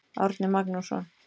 Árni Magnússon.